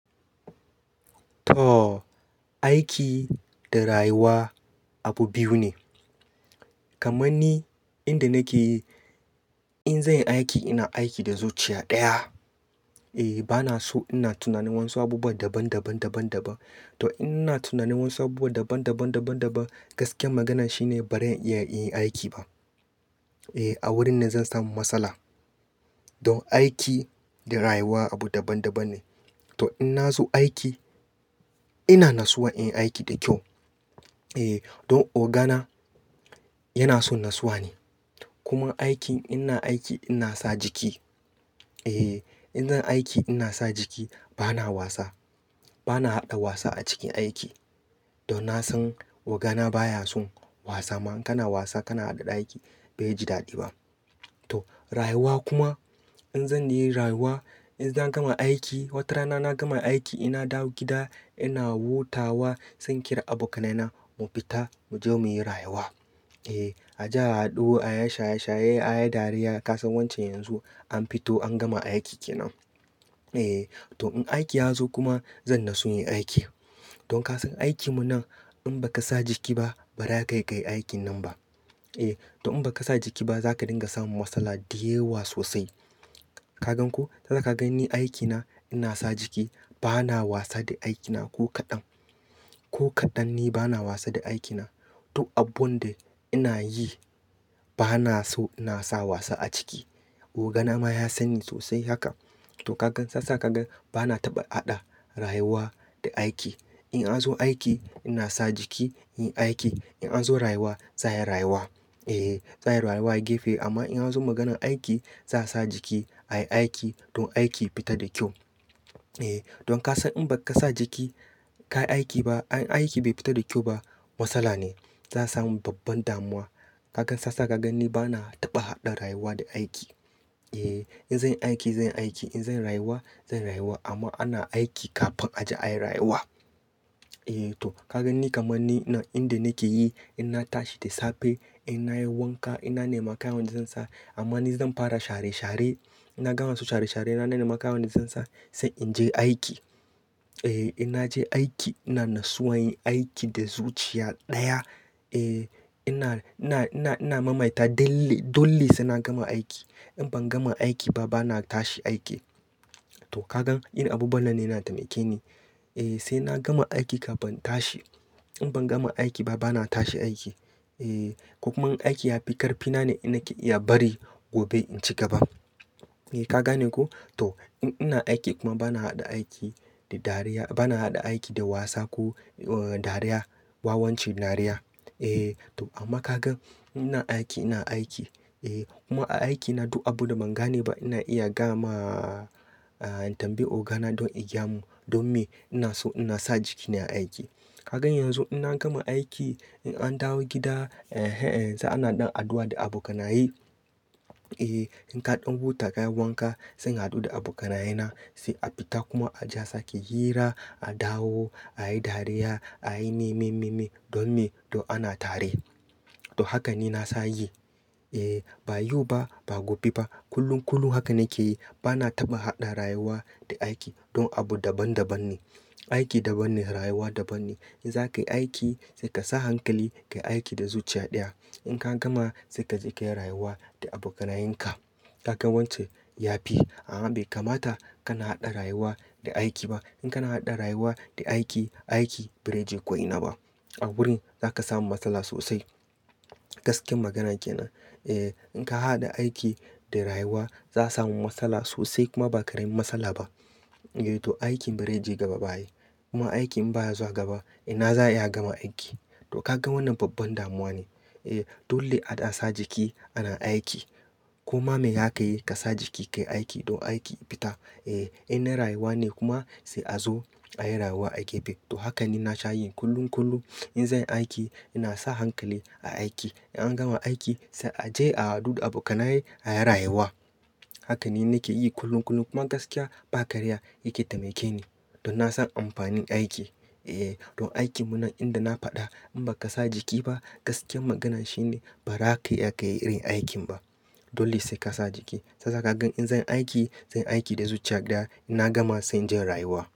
Aiki da rayuwa abu biyu ne. Kamanni inda nake yi, in zan yi aiki ina aiki da zuciya ɗaya. Bana so ina tunanin wasu abubuwan daban daban dabab daban. To in na tunanin wasu abubuwa daban daban daban daban, gaskiyar magana shine bazan iyayin aiki ba. A wurin nan zan samu matsala. Don aiki da rayuwa abu daban daban ne. To in na zo aiki ina nasuwa in yi aiki da kyau. Ogana yana son nasuwa ne. Kuma aiki, ina aiki ina sa jiki. In zan aiki ina sa jiki bana wasa. Bana haɗa wasa a cikin aiki. Don na san ogana baya son wasa, amma in kana wasa, kana haɗa da aiki bai ji daɗi ba. Rayuwa kuma in zanyi rayuwa, idan zan gama aiki watarana na gama aiki ina dawo gida ina hutawa, sai inkira abokane na mu fita mu je mu yi rayuwa. Aje a haɗu, a yi shaye shaye, a yi dariya. Ka san wance yanzu an fito an gama aiki kenan. To in aiki ya zo kuma zan natsu yin aiki. Don ka san aikinmu nan in ba ka sa jiki ba ba za kai iya kai aikin nan ba. To in ba ka sa jiki ba za ka dinga samun matsala dayawa sosai. Ka gan ko? Zaka gani aikina ina sa jiki bana wasa da aikina ko kaɗan. Ko kaɗan ni bana wasa da aikina. Duk abun da ina yi bana so ina sa wasa a ciki. Ogana ma ya sanni sosai haka. To ka gan sassa ka gan bana taɓa haɗa rayuwa da aiki. In an zo aiki ina sa jiki in yi aiki. In an zo rayuwa za a yi rayuwa. Za a yi rayuwa gefe. Amma in an zo maganan aiki za a sa jiki ayi aiki don aiki ya fita da kyau. Don ka san in ba ka sa jiki ka yi aiki ba, aiki bai fita da kyau ba matsala ne. Za a samu babban damuwa. Ka ga sassa ka gan ni bana taɓa haɗa rayuwa da aiki. In zan yi aiki zan yi aiki. In zan yi rayuwa zan yi rayuwa. Amma ana aiki kafin a je ayi rayuwa. To ka gan ni kamanni nan inda nake yi inna tashi da safe inna yin wanka inna nema kayan da zan sa. Amma ni zan fara share share. Na gama wasu share share na nema kayan da zan sa sai in je aiki. In na je aiki ina nasuwa yin aiki da zuciya ɗaya. Ina mamaita dole sai na gama aiki. In ban gama aiki ba bana tashi aiki. To ka gan inda abubuwa nan ne na temake ni. Sai na gama aiki kafin tashi. In ban gama aiki ba bana tashi aiki. Eh ko kuma in aiki ya fi ƙarfi na ne ina iya bari gobe in ci gaba. Ka gane ko? To in ina aiki kuma bana haɗa aiki da dariya, bana haɗa aiki da wasa ko dariya, wawan cin dariya. Amma ka gan in ina aiki ina aiki kuma a aiki na duk abunda ban gane ba ina iya gama tambayi ogana don igayamun. Don me ina so ina sa jiki nai aiki. Ka gan yanzu in na gama aiki in an dawo gida yanzu ana ɗan addu'a da abokanaye. In kaɗan huta ka yi wanka sai a haɗu da abokanaye na sai a fita kuma aje a sake hira, a dawo, a yi dariya, a yi me me me don me don ana tare. To haka ni na sa yi. Ba yau ba ba gobe ba. Kullun kullun haka nake yi. Bana taɓa haɗa rayuwa da aiki don abu daban daban ne. Aiki daban ne, rayuwa daban ne. In za ka yi aiki sai ka sa hankali ka yi aiki da zuciya ɗaya. In ka gama sai ka je ka yi rayuwa da abokanayenka. Ka gan wance ya fi. Amma bai kamata kana haɗa rayuwa da aiki ba. In kana haɗa rayuwa da aiki, aiki bai zaije ko ina ba. A wurin za ka samu matsala sosai. Gaskiyar magana kenan. In ka haɗa aiki da rayuwa za a samu matsala sosai kuma ba karamin matsala ba. To aikin bai zaije gaba ba ai. Kuma aiki in baya zuwa gaba ina za a iya gama aiki. To ka gan wannan babban damuwa ne. Dole a ɗan sa jiki ana aiki. Koma me zakayi ka sa jiki ka yi aiki don aiki ya fita. In na rayuwa ne kuma sai a zo ayi rayuwa a gefe. To haka ni na sha yin kullun kullum. In zan yi aiki ina sa hankali a aiki. In an gama aiki sai a je a haɗu da abokanaye a yi rayuwa. Haka ni nake yi kullun kullum. Kuma gaskiya ba karya yake taimake ni. Don na san amfanin aiki. Don aikinmu nan inda na faɗa in baka sa jiki ba gaskiyar magana shine ba za ka iya kai irin aikin ba. Dole sai ka sa jiki. Shiyasa ka gan in zan yi aiki zan yi aiki da zuciya ɗaya ina gama sai in je in rayuwa.